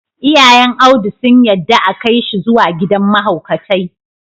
Iyayn Audu sun yadda a Kai shi zuwa gidan mahaukatai.